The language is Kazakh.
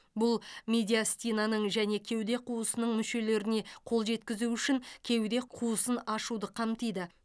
бұл медиастинаның және кеуде қуысының мүшелеріне қол жеткізу үшін кеуде қуысын ашуды қамтиды